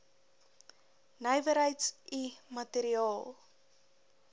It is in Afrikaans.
nywerheids i materiaal